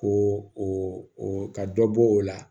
Ko o ka dɔ bɔ o la